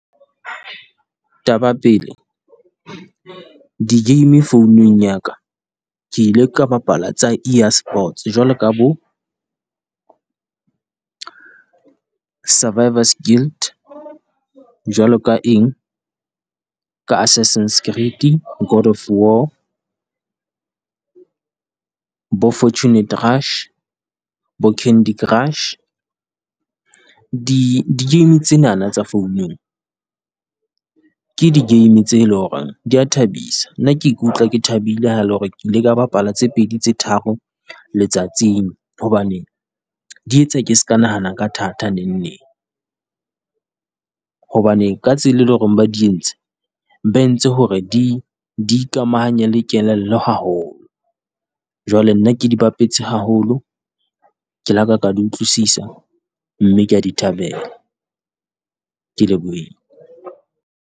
Taba pele di game founung ya ka, ke ile ka bapala tsa EA sports jwalo ka bo Survivors Guilt, jwalo ka eng? Ka Assassins , God of War, bo Fortunate Rush, bo Candy Crush. Di di game tsenana tsa founung, ke di game tse le ho reng di ya thabisa, nna ke ikutlwa ke thabile ha le hore ke ile ka bapala tse pedi tse tharo letsatsing. Hobane di etsa ke se ka nahana ka thata neng neng, hobane ka tsela e leng hore ba di entse, ba entse hore di di ikamahanye le kelello haholo. Jwale nna ke di bapetse haholo. Ke la ka ka di utlwisisa, mme kea di thabela. Ke lebohile.